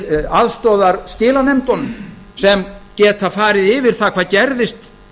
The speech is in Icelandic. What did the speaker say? til aðstoðar skilanefndunum sem geta farið yfir það hvað gerðist